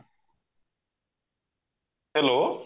hello